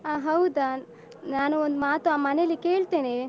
ಹ ಹೌದಾ ನಾನು ಒಂದು ಮಾತು ಮನೆಯಲ್ಲಿ ಕೇಳ್ತೇನೆ.